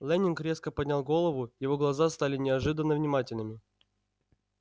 лэннинг резко поднял голову его глаза стали неожиданно внимательными